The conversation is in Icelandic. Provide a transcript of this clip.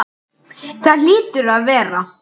Það hlýtur að vera.